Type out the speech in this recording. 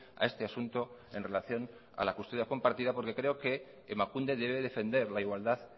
a este asunto en relación a la custodia compartida porque creo que emakunde debe defender la igualdad